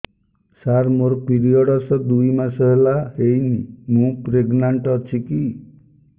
ସାର ମୋର ପିରୀଅଡ଼ସ ଦୁଇ ମାସ ହେଲା ହେଇନି ମୁ ପ୍ରେଗନାଂଟ ଅଛି କି